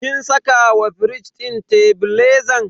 kin saka wa firij din tebilezan?